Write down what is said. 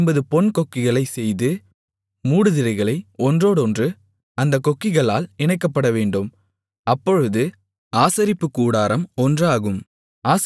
ஐம்பது பொன் கொக்கிகளை செய்து மூடுதிரைகளை ஒன்றோடொன்று அந்தக் கொக்கிகளால் இணைக்கப்படவேண்டும் அப்பொழுது ஆசரிப்பு கூடாரம் ஒன்றாகும்